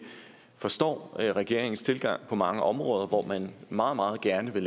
forstår regeringens tilgang på mange områder hvor man meget meget gerne vil